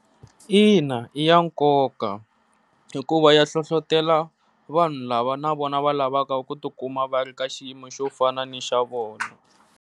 Ina i ya nkoka, hikuva ya hlohlotelo vanhu lava na vona va lavaka ku tikuma va ri ka xiyimo xo fana ni xa vona.